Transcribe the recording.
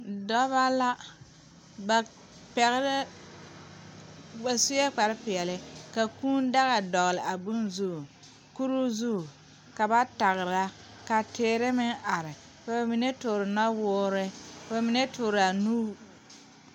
Dɔɔ ane pɔge la a are ka mine zeŋ ba seɛŋ kaa dɔɔ a zeŋ teŋa kaa pɔgɔ a kyaaroo kaa pɔgɔba laara kaa dɔɔ meŋ a laara kaa dɔɔ su bompeɛle kaa pɔge meŋ su bomdɔre